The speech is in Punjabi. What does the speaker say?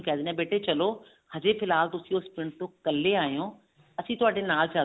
ਕਿਹ ਦਿੰਨੇ ਆ ਬੇਟੇ ਚਲੋ ਹਜੇ ਫਿਲਹਾਲ ਤੁਇਸਨ ਉਸ ਪਿੰਡ ਤੋਂ ਕੱਲੇ ਆਏਹੋ ਅਸੀਂ ਤੁਹਾਡੇ ਨਾਲ